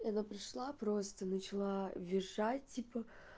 она пришла просто начала визжать типа